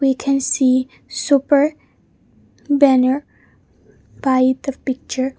we can see super banner by the picture.